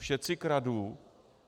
všetci kradnú!